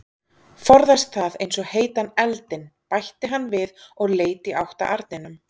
Forðast það eins og heitan eldinn, bætti hann við og leit í átt að arninum.